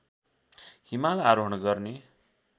हिमाल आरोहण गर्ने